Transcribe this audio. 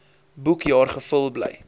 boekjaar gevul gebly